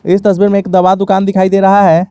इस तस्वीर में एक दवा दुकान दिखाई दे रहा है।